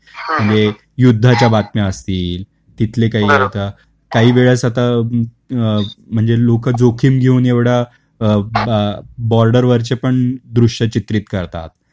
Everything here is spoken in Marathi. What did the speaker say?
म्हणजे युद्धाच्या बातम्या असतील, तिथले काही आता, काही वेळेस आता म्हणजे लोक जोखीम घेऊन एवढा अ बॉर्डर वरचे पण दृश्य चित्रित करतात.